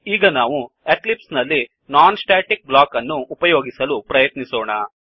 ಈಗ ನಾವು ಎಕ್ಲಿಪ್ಸ್ ನಲ್ಲಿ ನಾನ್ ಸ್ಟ್ಯಾಟಿಕ್ ಬ್ಲಾಕ್ ಅನ್ನು ಉಪಯೋಗಿಸಲು ಪ್ರಯತ್ನಿಸೋಣ